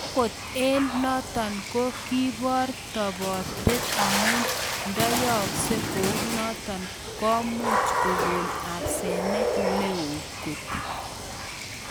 Angot eng notok ko kebor topoteet amuu ndoyooksei kounotok komuuch kogon asenet neo koot